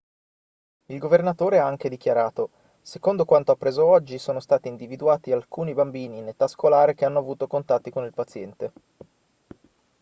il governatore ha anche dichiarato secondo quanto appreso oggi sono stati individuati alcuni bambini in età scolare che hanno avuto contatti con il paziente